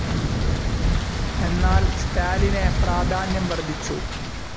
എന്നാൽ സ്റ്റാലിനെ പ്രാധാന്യം വർദ്ധിച്ചു.